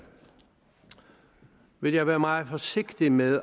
vil jeg være meget forsigtig med